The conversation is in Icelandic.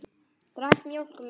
Drakk mjólk með.